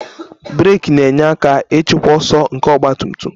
Brek na-enyere aka ịchịkwa ọsọ nke ọgba tum tum